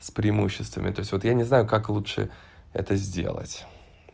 с преимуществом это всё вот я не знаю как лучше это сделать